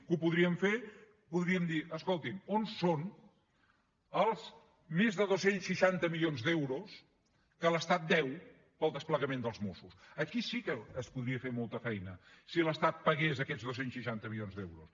que ho podríem fer podríem dir escolti’m on són els més de dos cents i seixanta milions d’euros que l’estat deu per al desplegament dels mossos aquí sí que es podria fer molta feina si l’estat pagués aquests dos cents i seixanta milions d’euros